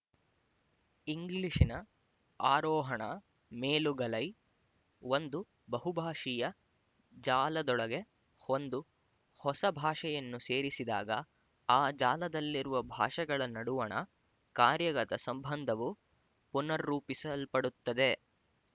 ಇಂಗ್ಲಿಶಿನ ಆರೋಹಣಮೇಲುಗಲೈ ಒಂದು ಬಹುಭಾಶೀಯ ಜಾಲದೊಳಗೆ ಒಂದು ಹೊಸ ಭಾಷೆಯನ್ನು ಸೇರಿಸಿದಾಗ ಆ ಜಾಲದಲ್ಲಿರುವ ಭಾಷೆಗಳ ನಡುವಣ ಕಾರ್ಯಗತ ಸಂಬಂಧವು ಪುನರ್ ರೂಪಿಸಲ್ಪಡುತ್ತದೆ